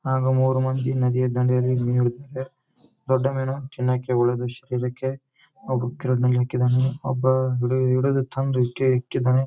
ನಾವು ಮೂರು ಮಂದು ನದಿಯ ದಂಡೆಯಲ್ಲಿ ಮಿನು ಹಿಡಿಯುತ್ತಿದ್ದೆವ್ವೆ ದೊಡ್ಡ ಮಿನು ತಿನ್ನೊಕೆ ಓಳ್ಳೆಯದು ಸಿಕ್ಕಿದಿಕ್ಕೆ ಓಬ್ಬ ಹಿಡೀದು ಹಿಡಿದು ತಂದು ಹಾಕಿದಾನೆ.